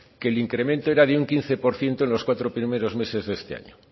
que el incremento era de un quince por ciento en los cuatro primeros meses de este año